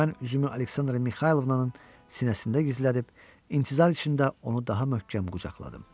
Mən üzümü Aleksandra Mixaylovnanın sinəsində gizlədib, intizar içində onu daha möhkəm qucaqladım.